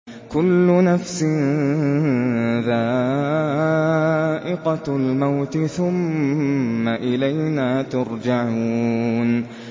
كُلُّ نَفْسٍ ذَائِقَةُ الْمَوْتِ ۖ ثُمَّ إِلَيْنَا تُرْجَعُونَ